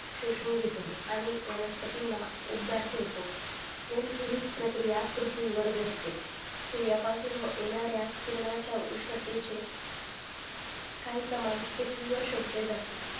शोषून घेतो आणि वनस्पतींना उबदार ठेवतो नेमकी हीच प्रक्रिया पृथ्वीवर घडते सूर्यापासून येणाऱ्या उष्णतेचे काही प्रमाण पृथ्वीवर शोषले जाते